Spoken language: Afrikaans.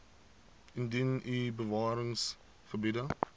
indien u bewaringsgebiede